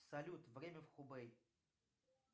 салют время в хубэй